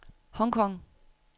Hong Kong